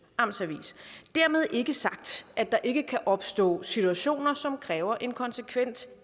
amts avis dermed ikke sagt at der ikke kan opstå situationer som kræver en konsekvent